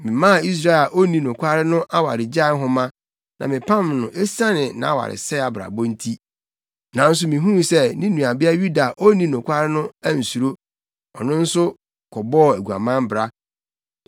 Memaa Israel a onni nokware no awaregyae nhoma na mepam no esiane nʼawaresɛe abrabɔ nti. Nanso mihuu sɛ ne nuabea Yuda a onni nokware no ansuro; ɔno nso kɔbɔɔ aguaman bra.